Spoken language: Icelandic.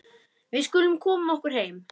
Við skulum koma okkur heim.